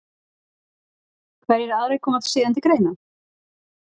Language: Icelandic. Hvaða aðrir koma síðan til greina?